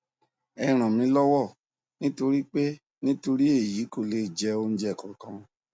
ẹ ràn mí lọwọ nítorí pé nítorí èyí kò lè jẹ oúnjẹ kankan